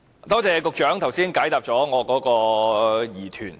多謝局長剛才解答了我的疑團。